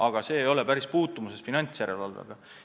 Aga sel pole päris puutumust finantsjärelevalvega.